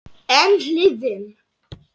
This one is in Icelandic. En hin hliðin.